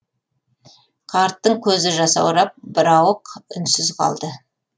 қарттың көзі жасаурап бірауық үнсіз қалды